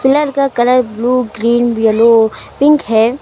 Pillar का colour blue green yellow pink है।